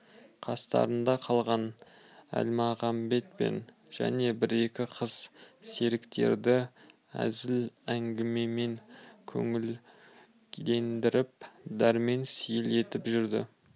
қастарында қалған әлмағамбет пен және бір-екі қыз серіктерді әзіл-әңгімемен көңілдендіріп дәрмен сейіл етіп жүрді